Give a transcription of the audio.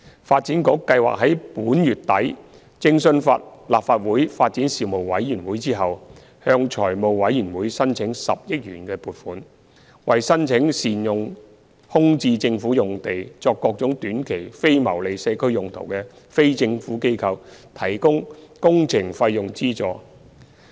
發展局計劃在本月底徵詢立法會發展事務委員會後，向財務委員會申請10億元撥款，為申請善用空置政府用地作各種短期非牟利社區用途的非政府機構提供工程費用資助。